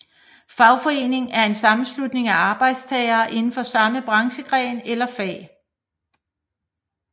Fagforening er en sammenslutning af arbejdstagere indenfor samme branchegren eller fag